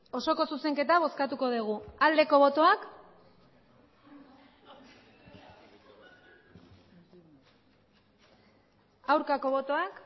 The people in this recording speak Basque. osoko zuzenketa bozkatuko dugu aldeko botoak aurkako botoak